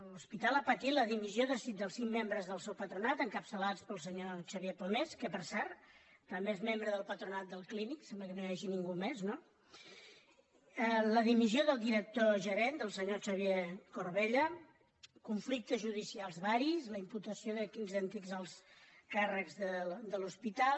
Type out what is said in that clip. l’hospital ha patit la dimissió dels cinc membres del seu patronat encapçalats pel senyor xavier pomés que per cert també és membre del pa·tronat del clínic sembla que no hi hagi ningú més no la dimissió del director gerent del senyor xavier corbella conflictes judicials diversos la imputació de quinze antics alts càrrecs de l’hospital